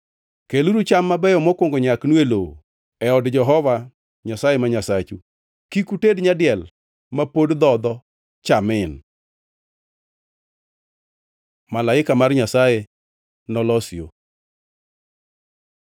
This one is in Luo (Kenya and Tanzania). “Keluru cham mabeyo mokwongo nyaknu e lowo e od Jehova Nyasaye ma Nyasachu. “Kik uted nyadiel ma pod dhodho cha min. Malaika mar Nyasaye nolos yo